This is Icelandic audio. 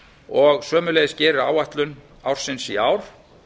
og sömuleiðis gerir áætlun ársins í ár